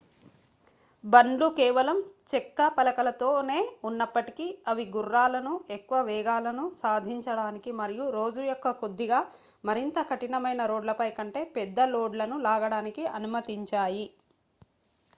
బండ్లు కేవలం చెక్క పలకలతో నే ఉన్నప్పటికీ అవి గుర్రాలను ఎక్కువ వేగాలను సాధించడానికి మరియు రోజు యొక్క కొద్దిగా మరింత కఠినమైన రోడ్లపై కంటే పెద్ద లోడ్లను లాగడానికి అనుమతించాయి